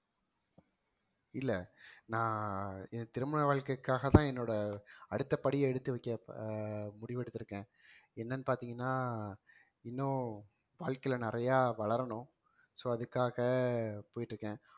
இல்ல நான் என் திருமண வாழ்க்கைக்காகதான் என்னோட அடுத்த படியை எடுத்து வைக்க ஆஹ் முடிவெடுத்திருக்கேன் என்னன்னு பார்த்தீங்கன்னா இன்னும் வாழ்க்கையில நிறைய வளரணும் so அதுக்காக போயிட்டிருக்கேன்